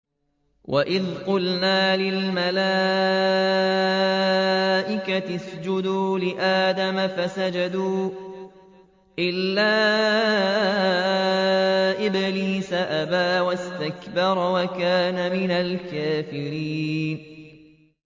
وَإِذْ قُلْنَا لِلْمَلَائِكَةِ اسْجُدُوا لِآدَمَ فَسَجَدُوا إِلَّا إِبْلِيسَ أَبَىٰ وَاسْتَكْبَرَ وَكَانَ مِنَ الْكَافِرِينَ